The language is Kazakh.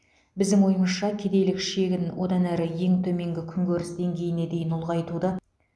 біздің ойымызша кедейлік шегін одан әрі ең төменгі күнкөріс деңгейіне дейін ұлғайтуды